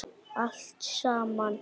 Allt saman?